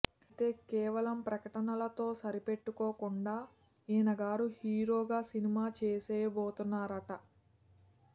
ఐతే కేవలం ప్రకటనలతో సరిపెట్టుకుండా ఈయన గారు హీరోగా సినిమా చేసేయబోతున్నారట